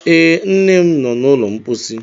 Ee, nne m nọ n'ụlọ mposi.